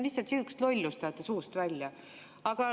Lihtsalt sihukest lollust ajate suust välja.